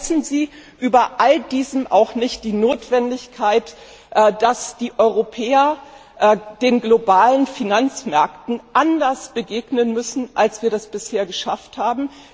Aber vergessen Sie über all dem auch nicht die Notwendigkeit, dass die Europäer den globalen Finanzmärkten anders begegnen müssen, als wir das bisher geschafft haben.